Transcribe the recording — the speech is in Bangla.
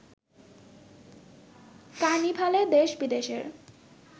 কার্নিভালে দেশ বিদেশের